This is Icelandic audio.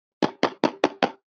Rebekka amma.